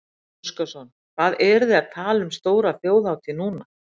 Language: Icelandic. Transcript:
Gísli Óskarsson: Hvað eruð þið að tala um stóra þjóðhátíð núna?